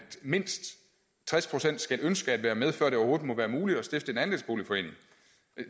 mindst tres procent skal ønske at være med før det overhovedet er muligt at stifte en andelsboligforening